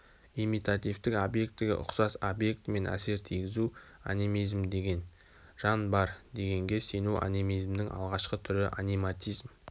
имитативтік объектіге ұқсас объектімен әсер тигізу анимизм деген жан бар дегенге сену анимизмнің алғашқы түрі аниматизм